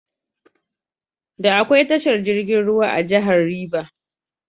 Da akwai tashar jirgin ruwan a jahar River.